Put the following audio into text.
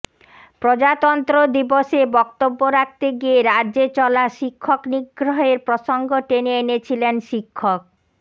প্রজাতন্ত্র দিবসে বক্তব্য রাখতে গিয়ে রাজ্যে চলা শিক্ষক নিগ্রহের প্রসঙ্গ টেনে এনেছিলেন শিক্ষক